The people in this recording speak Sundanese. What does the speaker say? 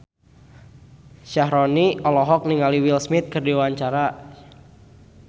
Syaharani olohok ningali Will Smith keur diwawancara